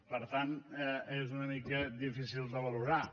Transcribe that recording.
per tant és una mica difícil de valorar